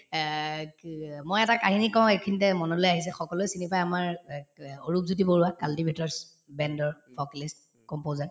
এহ্ কি অ মই এটা কাহিনী কওঁ এইখিনিতে মনলৈ আহিছে সকলোয়ে চিনি পাই আমাৰ অ ক অৰূপজ্যোতি বৰুৱাক cultivates brand ৰ composer